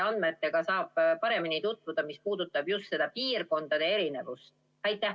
Ja kust saab täpsemaid andmeid, mis puudutavad just piirkondade erinevust?